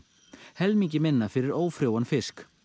helmingi minna fyrir ófrjóan fisk